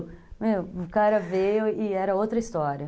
O cara veio e era outra história.